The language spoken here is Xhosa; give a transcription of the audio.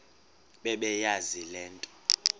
bebeyazi le nto